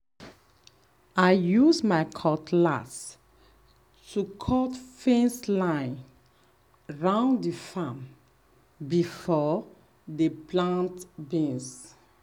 i use my cutlass to cut fence line round the farm before dem plant beans.